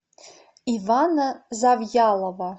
ивана завьялова